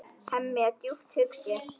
Hemmi er djúpt hugsi.